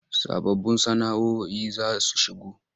Sababbun sana”oi za su shigo.